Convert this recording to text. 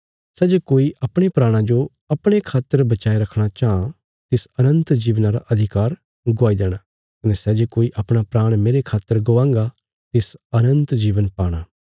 सै जे कोई अपणे प्राणा जो अपणे खातर बचाये रखणा चांह तिस अनन्त जीवना रा अधिकार गवाई देणा कने सै जे कोई अपणा प्राण मेरे खातर गवांगा तिस अनन्त जीवन पाणा